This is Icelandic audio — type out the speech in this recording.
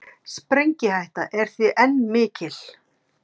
Sprengihætta er því enn mikil